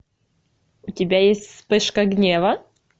у тебя есть вспышка гнева